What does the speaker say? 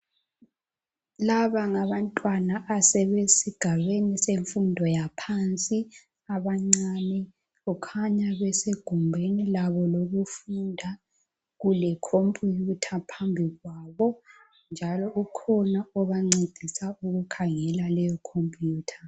Laba ngabantwana asebesigabeni semfundo yaphansi abancane , kukhanya besegumbini labo lokufunda , kule computer phambi kwabo njalo kukhona obancedisa ukukhangela leyo computer